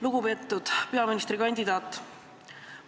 Lugupeetud peaministrikandidaat!